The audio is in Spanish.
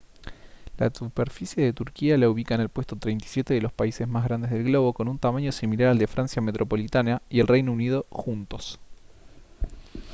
la superficie de turquía la ubica en el puesto 37 de los países más grandes del globo con un tamaño similar al de francia metropolitana y el reino unido juntos